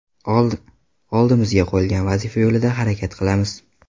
Oldimizga qo‘yilgan vazifa yo‘lida harakat qilamiz.